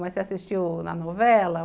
Mas você assistiu na novela?